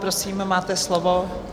Prosím, máte slovo.